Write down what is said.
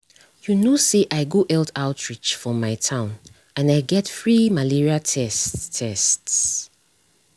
you know say i go health outreach for my town and i get free malaria tests. tests.